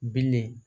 Bilen